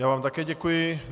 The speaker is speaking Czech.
Já vám také děkuji.